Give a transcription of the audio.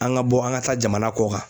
An ka bɔ an ka taa jamana kɔkan.